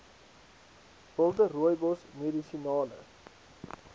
wilde rooibos medisinale